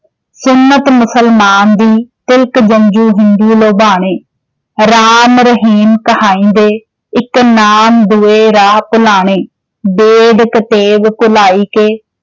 ਸੁੰਨਤਿ ਮੁਸਲਮਾਣ ਦੀ, ਤਿਲਕ-ਜੰਝੂ ਹਿੰਦੂ ਲੋਭਾਣੇ॥ ਰਾਮ-ਰਹੀਮ ਕਹਾਇਕੇ, ਇਕ ਨਾਮੁ ਕੋਇ ਰਾਹ ਭੁਲਾਣੇ॥ ਬੇਦ ਕਤੇਬ ਭੁਲਾਇਕੈ